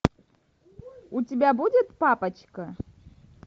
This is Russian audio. у тебя будет папочка